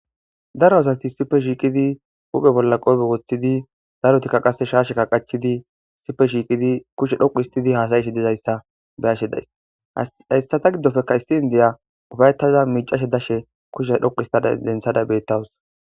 Daro asati issippe shiqqidinne huphphe bolla qoope woththidii darottikka qasekka shaashshekka qaachchidii issippe shiqqidi.kushshe dhoqqu histidii hassayishe dizayssa beyashe dayssi hayssata giddoppekka issi indiya uuffayetada miicashe dashe kushshe dhoqqu histadda denththada de'awus